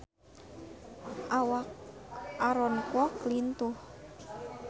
Awak Aaron Kwok lintuh